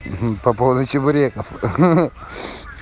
по поводу чебуреков ха-ха-ха